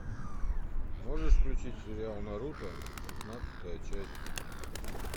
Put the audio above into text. можешь включить сериал наруто шестнадцатая часть